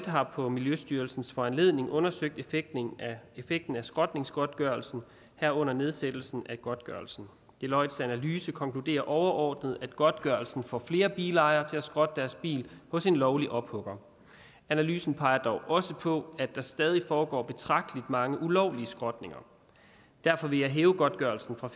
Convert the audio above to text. har på miljøstyrelsens foranledning undersøgt effekten effekten af skrotningsgodtgørelsen herunder nedsættelsen af godtgørelsen deloittes analyse konkluderer overordnet at godtgørelsen får flere bilejere til at skrotte deres bil hos en lovlig ophugger analysen peger dog også på at der stadig foregår betragtelig mange ulovlige skrotninger derfor vil jeg hæve godtgørelsen fra